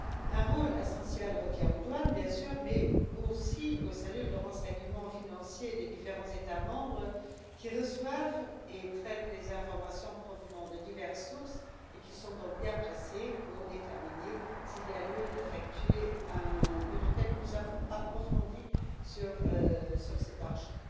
Un rôle essentiel revient aux douanes, bien sûr, mais aussi aux cellules de renseignement financier des différents États membres, qui reçoivent et traitent les informations provenant de diverses sources et sont donc bien placées pour déterminer s'il y a lieu d'effectuer une enquête plus approfondie sur cet argent.